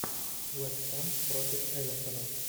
вест хэм против эвертона